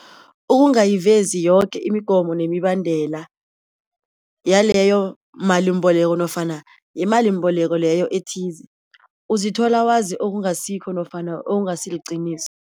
Ukungayivezi yoke imigomo nemibandela yaloyo malimbeleko nofana yimalimbeleko leyo ethize, uzithola wazi okungasihoo nofana okungasiliqiniso.